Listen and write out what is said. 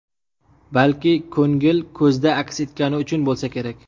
Balki, ko‘ngil ko‘zda aks etgani uchun bo‘lsa kerak.